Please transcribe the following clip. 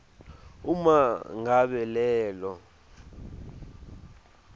uma ngabe lelo